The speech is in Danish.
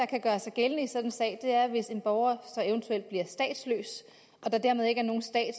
kan gøre sig gældende i sådan en sag er hvis en borger så eventuelt bliver statsløs og der dermed ikke er nogen stat at